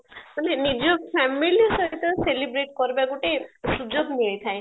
ମାନେ ନିଜ family ସହିତ celebrate କରିବା ଗୋଟେ ସୁଯୋଗ ମିଳିଥାଏ